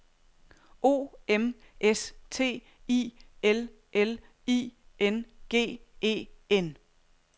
O M S T I L L I N G E N